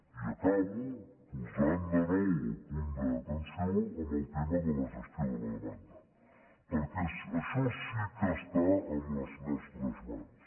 i acabo posant de nou el punt d’atenció en el tema de la gestió de la demanda perquè això sí que està en les nostres mans